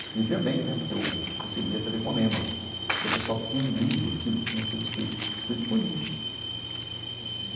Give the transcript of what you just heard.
Escrevia bem né, porque eu recebia telefonemas do pessoal que tinham lido aquilo que tinha sido escrito escrito por mim.